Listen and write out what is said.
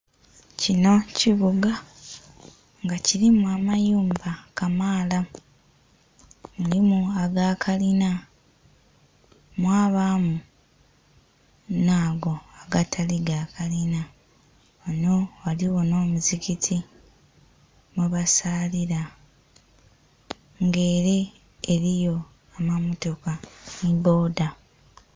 Kinho kibuga nga kilimu amayumba kamaala mulimu aga kalina mwabamu nha go agatali ga kalina ghanho ghaligho nho musigiti mwe basaalila nga ere eriyo amamotoka nhi bboda.